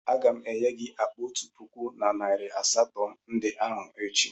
M ga-enye gị akpa otu puku na narị asatọ ndị ahụ echi.